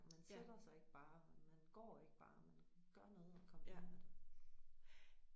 Men sætter sig ikke bare man man går ikke bare man gør noget og kombinerer det